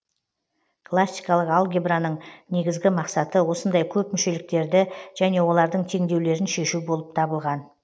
классикалық алгебраның негізгі мақсаты осындай көпмүшеліктерді және олардың теңдеулерін шешу болып табылған